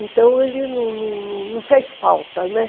Então ele não não não fez falta, né?